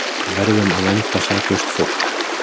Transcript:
Verðum að vernda saklaust fólk